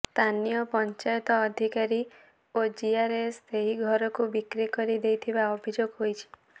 ସ୍ଥାନୀୟ ପଞ୍ଚାୟତ ଅଧିକାରୀ ଓ ଜିଆରଏସ ସେହି ଘରକୁ ବିକ୍ରି କରି ଦେଇଥିବା ଅଭିଯୋଗ ହୋଇଛି